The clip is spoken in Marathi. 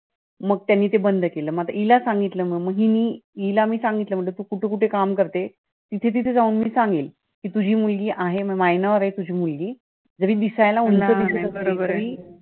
मग त्यांनी ते बंद केलं मग मी ते हिला सांगितलं. मग हिने हिला सांगितलं की तू कुठे कुठे काम करतेस? तिथे तिथे जाऊन मी सांगेन. तुझी मुलगी आहे तुझी मुलगी minor आहे ही मुलगी. जरी दिसायला उंच दिसत असली तरी